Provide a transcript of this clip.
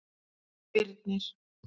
Birnir